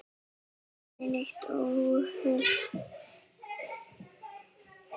Aldrei neitt óhóf.